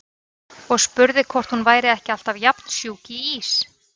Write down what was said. Og spurði hvort hún væri ekki alltaf jafn sjúk í ís.